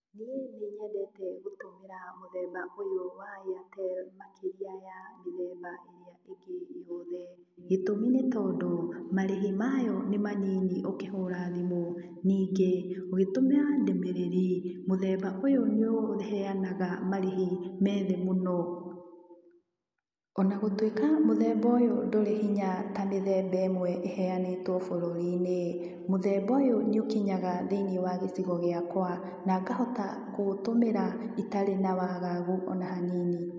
Niĩ nĩ nyendete gũtũmĩra mũthemba ũyũ wa Airtel makĩria ya mĩthemba ĩrĩa ĩngĩ yothe. Gĩtũmi nĩ tondũ, marĩhi mayo nĩ manyinyi ũkĩhũra thimũ. Ningĩ ũgĩtũmĩra ndũmĩrĩri, mũthemba ũyũ ũheanaga marĩhi me thĩ mũno. Ona gũtũĩka mũthemba ũyũ ndũrĩ hinya ta mĩthemba ĩmwe eheanĩtwo bũrũri-inĩ, mũthemba ũyũ nĩ ũkinyaga thĩiniĩ wa gĩcigo gĩakwa, na ngahota kũũtũmĩra itarĩ na waagagu ona hanini.